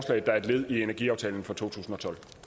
der et led i energiaftalen fra totusinde